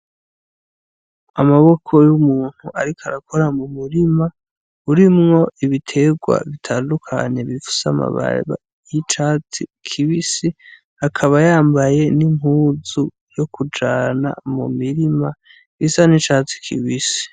Amaboko y'umuntu ariko arakora mu murima, urimwo ibitegwa bitandukanye bifise amababi y'icatsi kibisi, akaba yambaye n'impuzu yo kujana mu mirima isa n'icatsi kibisi.